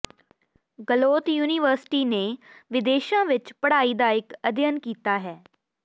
ਗਲੋਤ university ਨੇ ਵਿਦੇਸ਼ਾਂ ਵਿੱਚ ਪੜ੍ਹਾਈ ਦਾ ਇੱਕ ਅਧਿਐਨ ਕੀਤਾ ਹੈ